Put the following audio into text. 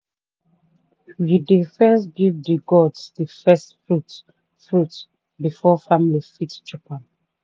we dey first give the gods the first fruit fruit before family fit chop am.